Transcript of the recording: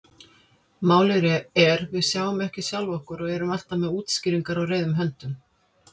Málið er: Við sjáum ekki sjálf okkur og erum alltaf með útskýringar á reiðum höndum.